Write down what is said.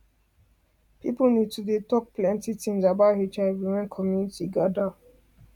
people need to dey talk plenty things about hiv when community gather